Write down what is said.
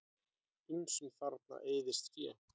Ýmsum þarna eyðist féð.